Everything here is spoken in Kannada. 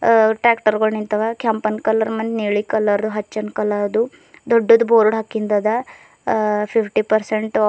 ಆ ಟ್ರ್ಯಾಕ್ಟರ್ ಗಳ್ ನಿಂತಾವ ಕೆಂಪನ್ ಕಲರ್ ಮನ್ ನೀಳಿ ಕಲರ್ ಹಚ್ಚನ್ ಕಲರ್ ದು ದೊಡ್ಡದ್ ಬೋರ್ಡ್ ಹಾಕಿನ್ದದ ಆ ಫಿಫ್ಟಿ ಪರ್ಸೆಂಟ್ ಆ --